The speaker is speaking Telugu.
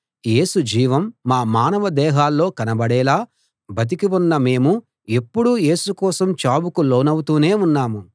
యేసు జీవం మా మానవ దేహాల్లో కనబడేలా బతికి ఉన్న మేము ఎప్పుడూ యేసు కోసం చావుకు లోనవుతూనే ఉన్నాము